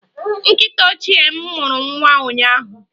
Nkịta ochie m mụrụ nwa ụnyaahụ